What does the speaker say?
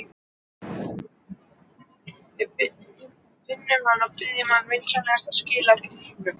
Við finnum hana og biðjum hana vinsamlega að skila gripnum.